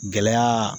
Gɛlɛya